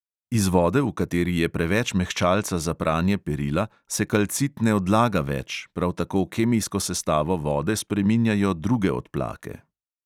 Iz vode, v kateri je preveč mehčalca za pranje perila, se kalcit ne odlaga več, prav tako kemijsko sestavo vode spreminjajo druge odplake.